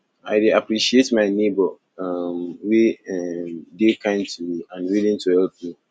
i dey appreciate my neighbor um wey um dey kind to me and willing to help me